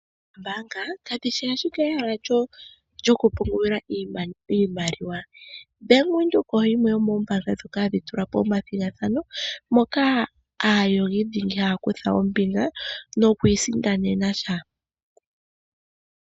Oombaanga kadhishi ashike ehala lyokupungulila iimaliwa, Bank Windhoek oyo yimwe yomoombaanga dhoka hadhi tula po omathigathano moka aayogi dhingi haya kutha ombinga, noku isindanena tya.